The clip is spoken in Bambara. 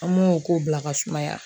An m'o ko bila ka sumaya